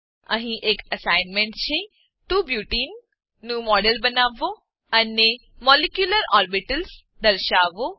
અહીં એક એસાઇનમેંટ છે 2 બ્યુટને 2 બ્યુટીન નું મોડેલ બનાવો અને મોલિક્યુલર ઓર્બિટલ્સ મોલેક્યુલર ઓર્બીટલ્સ દર્શાવો